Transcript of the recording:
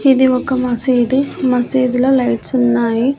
ఇది ఒక మసీదు మసీదు లో లైట్సు ఉన్నాయి.